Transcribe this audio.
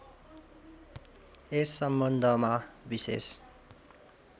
यस सम्बन्धमा विशेष